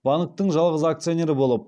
банктің жалғыз акционері болып